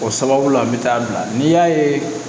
O sababu la a bi taa bila n'i y'a ye